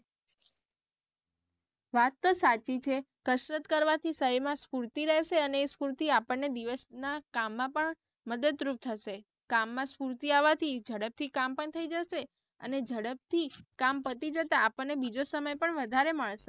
વાત તો સાચી છે કસરત કરવાથી સહી માં સફૂર્તી રહેશે અને સફૂર્તી થી આપણ ને દિવસ ના કામમાં પણ મદદ રૂપ થશે કામ માં સફૂર્તી આવા થી ઝડપ થી કામ પણ થઇ જશે અને ઝડપ થી કામ પતિ જતા આપણ ને બીજો સમય પણ વધારે મળશે.